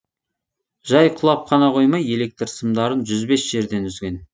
жай құлап қана қоймай электр сымдарын жүз бес жерден үзген